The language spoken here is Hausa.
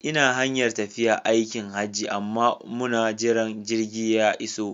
Ina hanyar tafiya aikin Hajji amma muna jiran jirgi ya iso